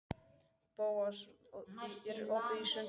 Bóas, er opið í Sundhöllinni?